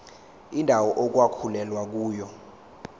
indawo okwakulwelwa kuyona